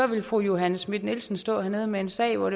ville fru johanne schmidt nielsen stå hernede med en sag